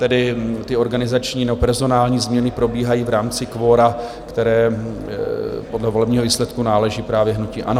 Tedy ty organizační nebo personální změny probíhají v rámci kvora, které podle volebního výsledku náleží právě hnutí ANO.